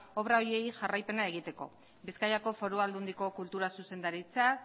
obra horiei jarraipena egiteko bizkaiko foru aldundiko kultura zuzendaritzak